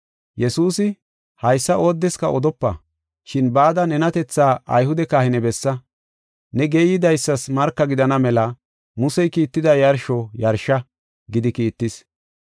Yesuusi, “Haysa oodeska odopa, shin bada nenatethaa Ayhude kahine bessa. Ne geeyidaysas marka gidana mela Musey kiitida yarsho yarsha” gidi kiittis.